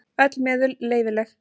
Öll meðul leyfileg.